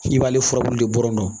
I b'ale furabulu de bɔ nɔ